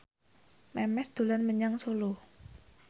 Memes dolan menyang Solo